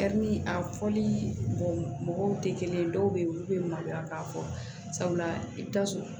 a fɔli mɔgɔw tɛ kelen ye dɔw bɛ yen olu bɛ maloya k'a fɔ sabula i bɛ taa sɔrɔ